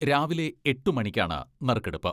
രാവിലെ എട്ട് മണിക്കാണ് നറുക്കെടുപ്പ്.